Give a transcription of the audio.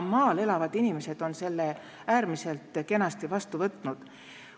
Maal elavad inimesed on selle äärmiselt kenasti vastu võtnud.